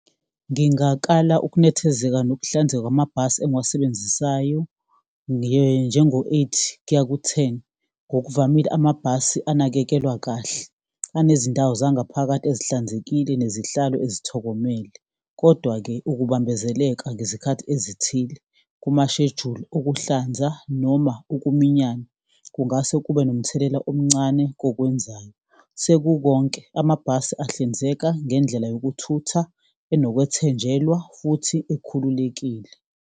Ngingakala ukunethezeka nokuhlanzeka kwamabhasi engiwasebenzisayo, njengo-eight kuya ku-ten. Ngokuvamile, amabhasi enakekelwa kahle, anezindawo zangaphakathi esihlanzekile nezihlalo ezithokomele. Kodwa-ke ukubambezeleka ngezikhathi ezithile kumasheduli okuhlanza noma ukuminyana kungase kube nomthelela omncane kokwenzayo. Sekukonke, amabhasi ahlinzeka ngendlela yokuthutha enokwethenjelwa, futhi ekhululekile.